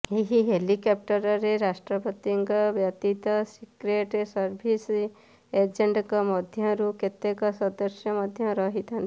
ଏହି ହେଲିକାପ୍ଟରରେ ରାଷ୍ଟ୍ରପତିଙ୍କ ବ୍ୟତୀତ ସିକ୍ରେଟ ସର୍ଭିସ ଏଜେଣ୍ଟଙ୍କ ମଧ୍ୟରୁ କେତେକ ସଦସ୍ୟ ମଧ୍ୟ ରହିଥାନ୍ତି